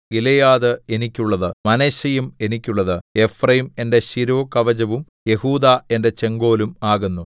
Gilead എനിക്കുള്ളത് മനശ്ശെയും എനിക്കുള്ളത് എഫ്രയീം എന്റെ ശിരോകവചവും യെഹൂദാ എന്റെ ചെങ്കോലും ആകുന്നു